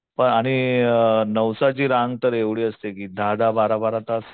पण आणि नवसाची रांग तर एवढी असते की दहा दहा बारा बारा तास